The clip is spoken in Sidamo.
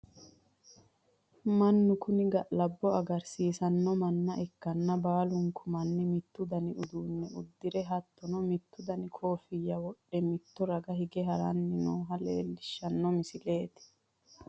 mannu kuni ga'labbo agarsiisanno manna ikkanna, baalunku manni mittu dani uduunne uddire, hattono mittu dani koffiyya wodhe mitto raga hige haranni nooha leelishshanno misileeti.